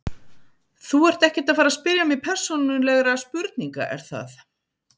Þú ert ekkert að fara spyrja mig persónulegra spurninga er það?